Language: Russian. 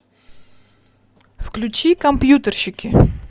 включи компьютерщики